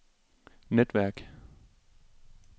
netværk